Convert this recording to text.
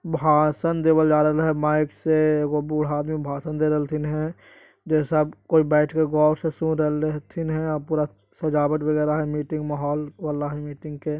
भाषन देवल जा रहल ह माइक से एगो बूढ़ा आदमी भाषण दे रहल हथीन है जैसे अब कोई बैठ के गौर से सुन रहले हथीन है आ पूरा सजावट वैगेरा हय मीटिंग माहौल वाला हय मीटिंग के।